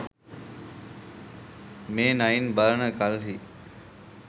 මේ නයින් බලන කල්හි